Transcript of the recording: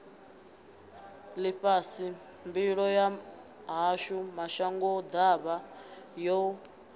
ḽifhasi mbilo yashu mashangoḓavha yo